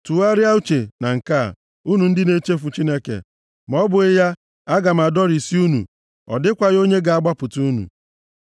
“Tụgharịa uche na nke a, unu ndị na-echefu Chineke, ma ọ bụghị ya, aga m adọrisi unu, ọ dịkwaghị onye ga-agbapụta unu.